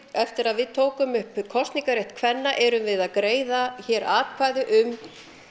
eftir að við tókum upp kosningarétt kvenna erum við að greiða hér atkvæði um